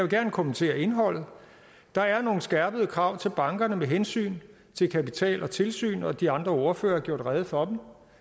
gerne kommentere indholdet der er nogle skærpede krav til bankerne med hensyn til kapital og tilsyn og de andre ordførere har gjort rede for